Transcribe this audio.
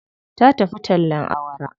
Ta tafi tallen awara.